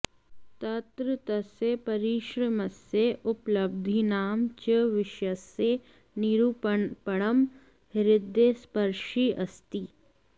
तत्र तस्य परिश्रमस्य उपलब्धीनां च विषयस्य निरूपणं हृदयस्पर्शि अस्ति